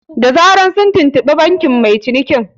Da zaran sun tuntuɓi bankin mai cinikin